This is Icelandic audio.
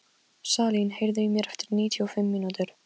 Að hætta var besta ástæðan fyrir því að byrja aftur.